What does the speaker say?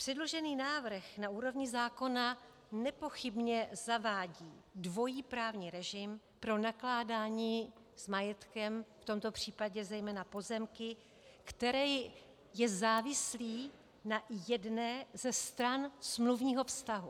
Předložený návrh na úrovni zákona nepochybně zavádí dvojí právní režim pro nakládání s majetkem, v tomto případě zejména pozemky, který je závislý na jedné ze stran smluvního vztahu.